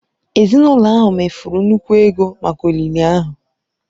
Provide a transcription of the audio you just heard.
Ezinụlọ ahụ mefuru nnukwu ego maka olili ahụ.